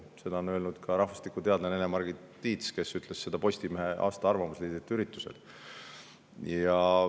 Seda ütles ka rahvastikuteadlane Ene‑Margit Tiit, ta tegi seda Postimehe aasta arvamusliidrite üritusel.